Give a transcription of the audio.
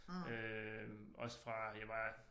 Øh også fra jeg var